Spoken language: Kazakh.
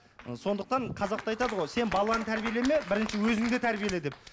ы сондықтан қазақта айтады ғой сен баланы тәрбиелеме бірінші өзіңді тәрбиеле деп